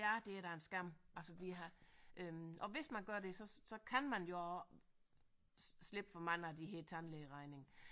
Ja det er da en skam altså vi har øh og hvis man gør det så så kan man jo slippe for mange af de her tandlægeregninger